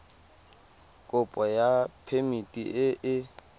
kopo ya phemiti e e